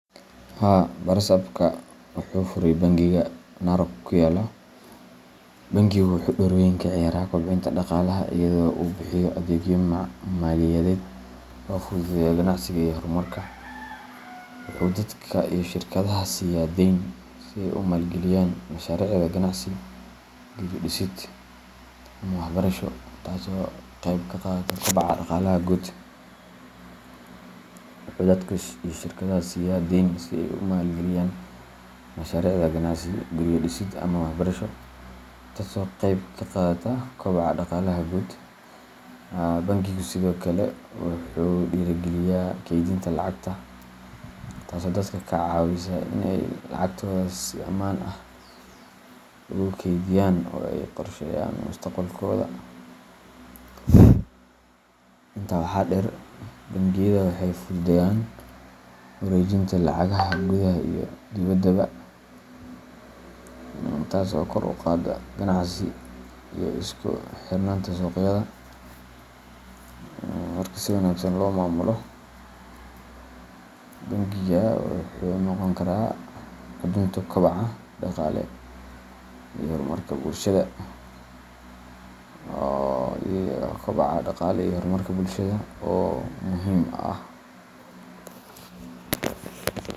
Haa barasabka wuxu furay bangigu Narok ku yalo, wuxuu door weyn ka ciyaaraa kobcinta dhaqaalaha iyadoo uu bixiyo adeegyo maaliyadeed oo fududeeya ganacsiga iyo horumarka. Wuxuu dadka iyo shirkadaha siiya deyn si ay u maalgeliyayaan mashaariicda ganacsi, guryo dhisid, ama waxbarasho, taasoo ka qayb qaadata kobaca dhaqaalaha guud. Bangigu sidoo kale wuxuu dhiirrigeliyaa kaydinta lacagta, taasoo dadka ka caawisa in ay lacagtooda si ammaan ah ugu kaydiyaan oo ay qorsheeyaan mustaqbalkooda. Intaa waxaa dheer, bangiyada waxay fududeeyaan wareejinta lacagaha gudaha iyo dibaddaba, taas oo kor u qaadda ganacsiga iyo isku xirnaanta suuqyada. Marka si wanaagsan loo maamulo, bangigu wuxuu noqon karaa xudunta kobaca dhaqaale iyo horumarka bulshada oo muhim ah.